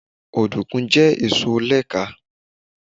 Òdùkú jẹ́ èso oni ẹ̀ka